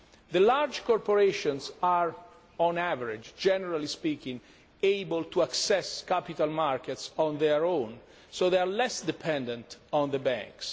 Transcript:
The large corporations are on average, generally speaking, able to access capital markets on their own, so they are less dependent on the banks.